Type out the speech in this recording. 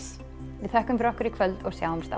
við þökkum fyrir okkur í kvöld og sjáumst